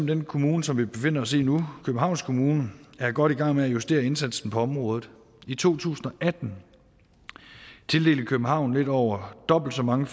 den kommune som vi befinder os i nu københavns kommune er godt i gang med at justere indsatsen på området i to tusind og atten tildelte københavn lidt over dobbelt så mange